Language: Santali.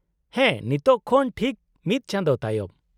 -ᱦᱮᱸ, ᱱᱤᱛᱳᱜ ᱠᱷᱚᱱ ᱴᱷᱤᱠ ᱢᱤᱫ ᱪᱟᱸᱫᱳ ᱛᱟᱭᱚᱢ ᱾